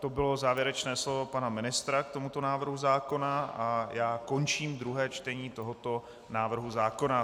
To bylo závěrečné slovo pana ministra k tomuto návrhu zákona a já končím druhé čtení tohoto návrhu zákona.